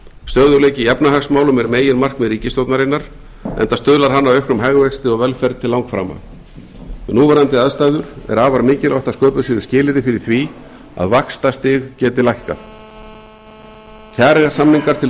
stöðugleiki í efnahagsmálum er meginmarkmið ríkisstjórnarinnar enda stuðlar hann að auknum hagvexti og velferð til langframa við núverandi aðstæður er afar mikilvægt að sköpuð séu skilyrði fyrir því að vaxtastig geti lækkað kjarasamningar til